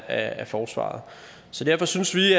af forsvaret så derfor synes vi